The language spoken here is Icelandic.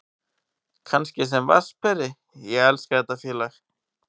Kannski sem vatnsberi, ég elska þetta félag.